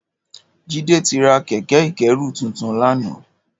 Jide ti rà kẹ̀kẹ̀ ikẹ̀rú tútún làná